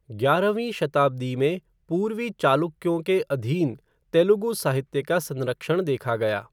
ग्यारहवीं शताब्दी में पूर्वी चालुक्यों के अधीन तेलुगु साहित्य का संरक्षण देखा गया।